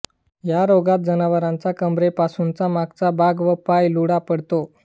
या रोगात जनावराचा कंबरेपासूनचा मागचा भाग व पाय लुळा पडतो